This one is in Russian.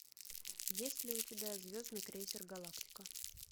есть ли у тебя звездный крейсер галактика